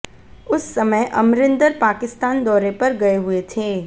उस समय अमरिंदर पाकिस्तान दोरे पर गए हुए थे